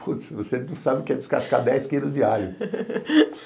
Putz, você não sabe o que é descascar dez quilos de alho.